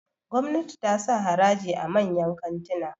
gwamnati ta sa haraji a manyan kantina